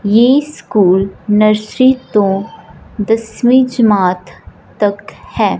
ये school nursery to दसवींछ मात तक हैं।